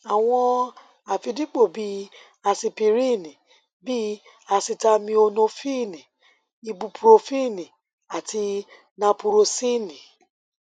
àwọn àfidípò bih i asipiríìnì bí i asitaminofíìnì ibupurofíìnì àti napurọsíìnì